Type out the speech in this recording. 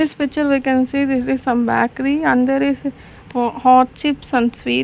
this picture we can see this is some bykary and there is hot chips and some sweet.